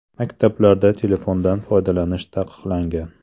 Maktablarda telefondan foydalanish taqiqlangan.